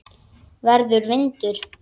Verður vindur.